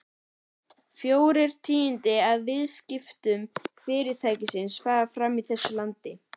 Fjórir tíundu af viðskiptum Fyrirtækisins fara fram í þessu landi.